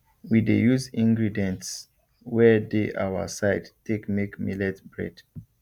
we dey use ingredients wey dey our side take make millet bread